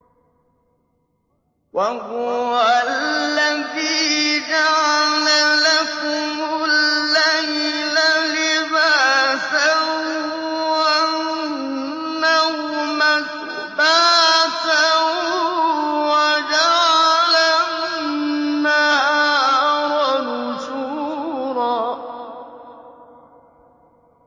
وَهُوَ الَّذِي جَعَلَ لَكُمُ اللَّيْلَ لِبَاسًا وَالنَّوْمَ سُبَاتًا وَجَعَلَ النَّهَارَ نُشُورًا